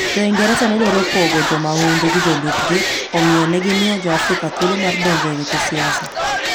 Jo - Ingresa ne dwaro pogo jo mahundu gi jolupgi, omiyo, ne gimiyo Jo-Afrika thuolo mar donjo e weche siasa.